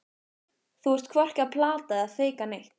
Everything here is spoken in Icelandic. Þú ert hvorki að plata eða feika neitt.